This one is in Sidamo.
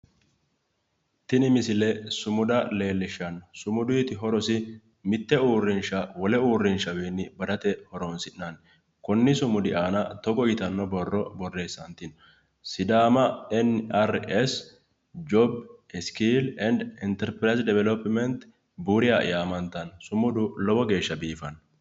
Tini misile sumuda leellishshanno. Sumuduyiti horosi mitte uurrinsha wole uurrinshawiinni badate horoonsi'nanni. Konni sumudu aana togo yitanno borro borreessantino. Sidaama enni arri essi joobi iskiilli endi interpirayizi devilopimeenti huriya yaamantanno. Sumudu lowo geeshsha biifanno.